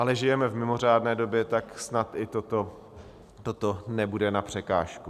Ale žijeme v mimořádné době, tak snad i toto nebude na překážku.